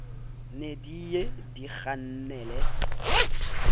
ne di ye di kgannele